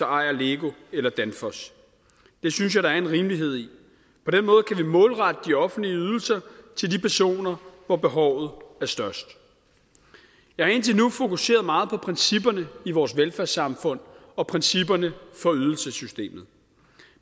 ejer lego eller danfoss det synes jeg der er en rimelighed i på den måde kan vi målrette de offentlige ydelser til de personer hvor behovet er størst jeg har indtil nu fokuseret meget på principperne i vores velfærdssamfund og principperne for ydelsessystemet